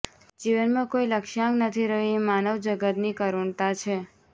જીવનમાં કોઇ લક્ષ્યાંક નથી રહ્યો એ માનવજગતની કરુણતા છે